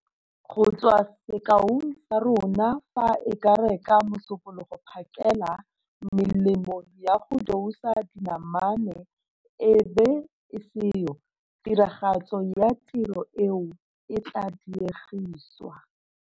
Go tswa sekaong sa rona fa e ka re ka Musopologo phakela melemo yago dousa dinamane e bo e seyo, tiragatso ya tiro eo e tlaa diegisiwa.